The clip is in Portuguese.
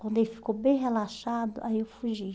Quando ele ficou bem relaxado, aí eu fugi.